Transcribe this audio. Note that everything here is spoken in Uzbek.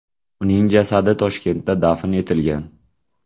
Uning jasadi Toshkentda dafn etilgan.